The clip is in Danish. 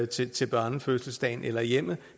til til børnefødselsdagen eller i hjemmet